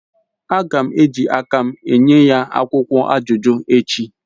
Agam eji akam enyeya akwukwo ajuju echi